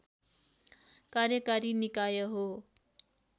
कार्यकारी निकाय हो